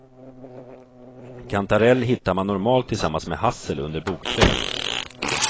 Kantarell hittar man normalt tillsammans med hassel och under bokträd.